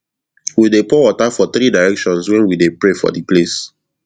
we dey pour water for three directions when we dey pray for di place